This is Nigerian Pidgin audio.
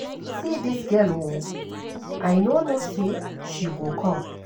See dis girl oo, I no know say she go come